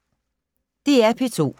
DR P2